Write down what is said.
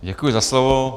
Děkuji za slovo.